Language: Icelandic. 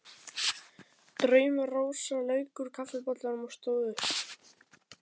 Drauma-Rósa lauk úr kaffibollanum og stóð upp.